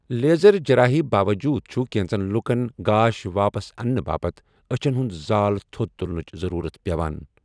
Laser جرٲہی باوجوُد چھٗ كینژن لوُكن گاش واپس اننہٕ باپت اچھن ہٗند زال تھو٘د تٗلنٕچ ضرورت پیوان ۔